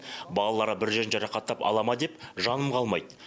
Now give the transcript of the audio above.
балалары бір жерін жарақаттап ала ма деп жаным қалмайды